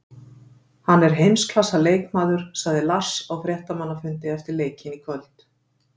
Hann er heimsklassa leikmaður, sagði Lars á fréttamannafundi eftir leikinn í kvöld.